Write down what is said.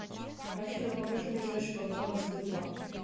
афина покажи ближайший банкомат сбербанк